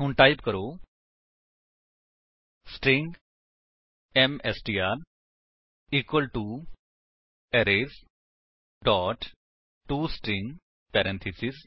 ਹੁਣ ਟਾਈਪ ਕਰੋ string M S T R equal to arrays dot to string parenthesis